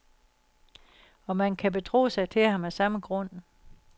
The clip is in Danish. Og man kan betro sig til ham af samme grund.